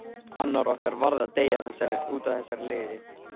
Annar okkar varð að deyja útaf þessari lygi.